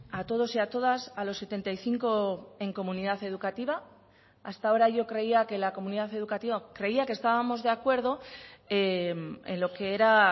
a todos y a todas a los setenta y cinco en comunidad educativa hasta ahora yo creía que la comunidad educativa creía que estábamos de acuerdo en lo que era